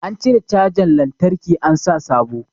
An cire cajan lantraki an sa sabo